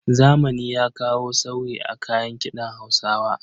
Zamani ya kawo sauyi a kayan kiɗan Hausawa.